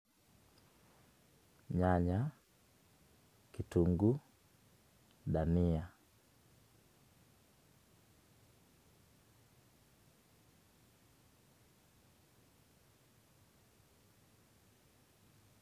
Nyanya, kitungu, dania.